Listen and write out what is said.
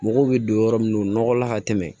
Mɔgɔw bɛ don yɔrɔ min o nɔgɔ la ka tɛmɛ